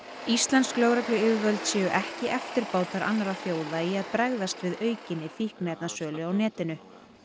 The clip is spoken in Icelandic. íslensk lögregluyfirvöld séu ekki eftirbátar annarra þjóða í að bregðast við aukinni fíkniefnasölu á netinu